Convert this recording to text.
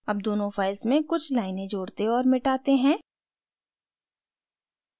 add दोनों files में कुछ लाइनें जोड़ते और मिटाते हैं